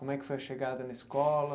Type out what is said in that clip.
Como é que foi a chegada na escola?